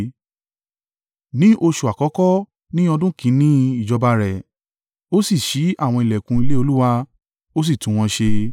Ní oṣù àkọ́kọ́ ní ọdún kìn-ín-ní ìjọba rẹ̀, ó sì ṣí àwọn ìlẹ̀kùn ilé Olúwa ó sì tún wọn ṣe.